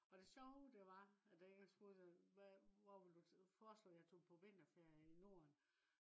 og det sjove det var at da jeg spurgte hva hvor vil du forslå jeg tog på vinterferie i norden